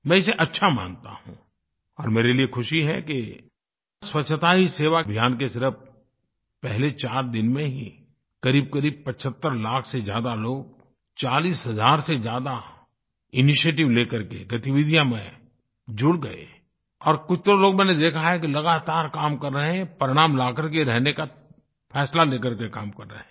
मैं इसे अच्छा मानता हूँ और मेरे लिए ख़ुशी है कि स्वच्छता ही सेवा अभियान के सिर्फ पहले चार दिन में ही करीबकरीब 75 लाख से ज़्यादा लोग 40 हज़ार से ज़्यादा इनिशिएटिव लेकर के गतिविधियों में जुड़ गए और कुछ तो लोग मैंने देखा है कि लगातार काम कर रहे हैं परिणाम लाकर के रहने का फैसला ले करके काम कर रहे हैं